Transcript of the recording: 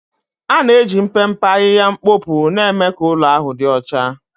ana-eji mpempe ahịhịa mkpopu na-eme ka ụlọ ahụ dị ọcha.